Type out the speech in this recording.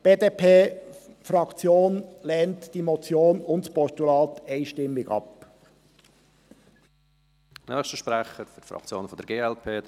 Die BDP-Fraktion lehnt die Motion und das Postulat einstimmig ab.